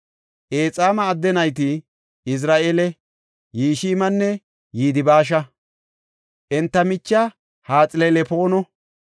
Exaama adde nayti Izira7eele, Yishmanne Yidibaasha; enta michiya Haxilelpoono.